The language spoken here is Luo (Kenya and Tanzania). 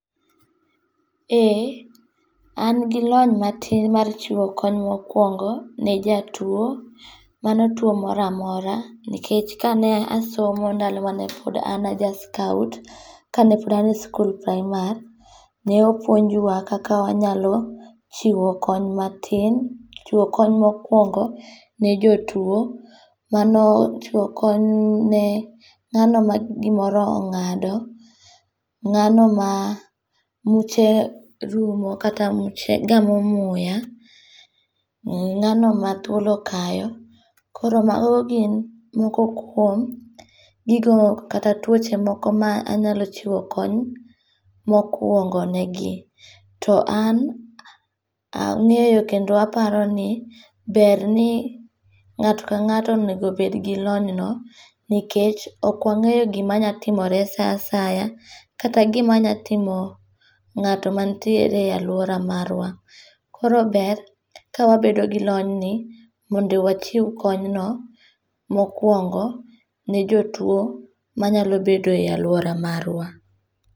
Ee, an gi lony matin mar chiwo kony mokuongo ne jatuo, mano tuo mora mora nikech kane asomo ndalo ma pod en an ja scout ka ne pod ane skul prayimar, ne opuonjwa kaka wanyalo chiwo kony matin, chiwo kony mokuongo' ni jotuo mano chiwo kony ne ng'ano ma gimoro anga'do , ng'ano ma muche rumo, kata gamo muya, ng'ano ma thuol okayo, koro mago gin moko kuom gigo kata twoche moko ma anyalo chiwo kony mokuongone gi, to an ange'yo kendo aparoni ni ber ni nga'to kanga'to enego bed gi lonyno, nikech okwangeyo gimanyalo timore sa asaya, kata gima nyalo timo nga'to manitiere e aluora marua. Koro ber kawabedo gi lony ni, mondo wachiu konyno mokuongo, ne jotuo manyalo bedoe e aluora marua.